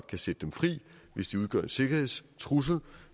kan sætte dem fri hvis de udgør en sikkerhedstrussel